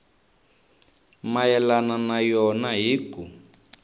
mayelana na yona hi ku